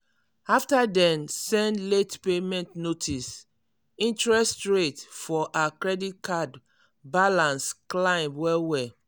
after dem send late payment notice interest rate for her credit card balance climb well well.